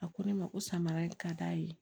A ko ne ma ko samara in ka d'a ye